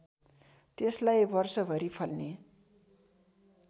त्यसलाई वर्षभरि फल्ने